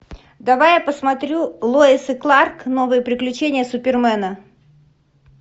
давай я посмотрю лоис и кларк новые приключения супермена